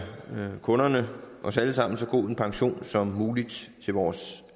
kunderne os alle sammen så god en pension som muligt til vores